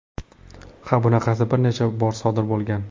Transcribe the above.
Ha, bunaqasi bir necha bor sodir bo‘lgan.